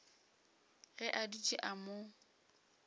ge a dutše a mo